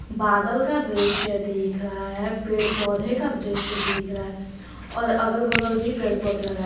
बादल का दृश्य देख रहा है पेड़ पौधे का दृश्य देख रहा है और अगल बगल भी पेड़ पौधे लगाए--